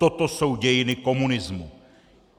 Toto jsou dějiny komunismu.